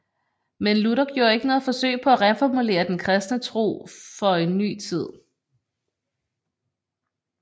Men Luther gjorde ikke noget forsøg på at reformulere den kristne tro for en ny tid